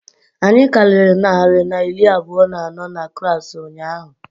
Anyị karịrị narị na iri abụọ na anọ na klaasị ụnyaahụ